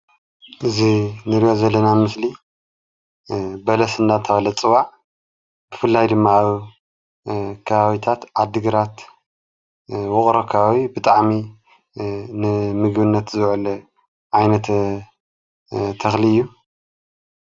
እዚ እንሪኦ ዘለና ኣብ ምስሊ በለስ እንዳተባሃለ ዝፅዋዕ ብፍላይ ድማ ኣብ ከባቢታት ዓዲግራት ውቅሮ ኣከባቢ ብጣዕሚ ንምግብነት ዝውዕል ዓይነት ተክሊ እዩ፡፡